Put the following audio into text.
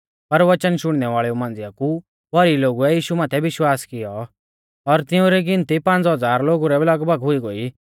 पर वचन शुणनै वाल़ेऊ मांझ़िया कु भौरी लोगुऐ यीशु माथै विश्वास कियौ और तिऊं री गिनती पांज़ हज़ार लोगु रै लगभग हुई गोई